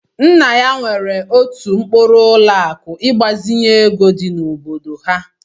Nna ya nwere otu mkpuru ụlọ akụ ịgbazinye ego dị n'obodo ha.